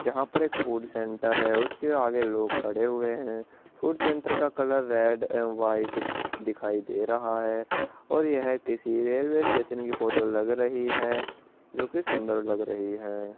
जहाँ पर एक फ़ूड सेण्टर है उसके आगे लोग खड़े हुए है फ़ूड सेण्टर का कलर रेड एंड वाइट दिखाई दे रहा है और यह किसी रेलवे स्टेशन की फोटो लग रही है जो कि सुन्दर लग रही है।